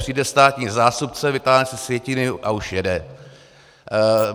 Přijde státní zástupce, vytáhne si sjetiny a už jede.